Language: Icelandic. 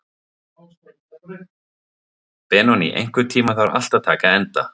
Benoný, einhvern tímann þarf allt að taka enda.